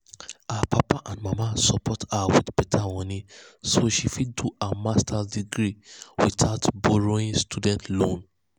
her papa and mama support her with better money so she fit do her master’s degree without borrow student loan.